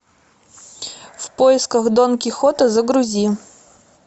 в поисках дон кихота загрузи